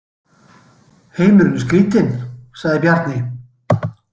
Heimurinn er skrítinn, sagði Bjarni.